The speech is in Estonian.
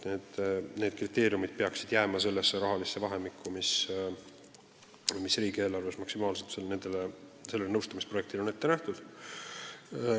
Need kriteeriumid peaksid jääma sellesse rahalisse vahemikku, mis riigieelarves maksimaalselt sellele nõustamisprojektile on ette nähtud.